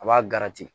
A b'a